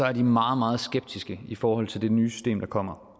er de meget meget skeptiske i forhold til det nye system der kommer